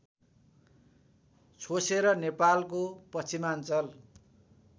छोसेर नेपालको पश्चिमाञ्चल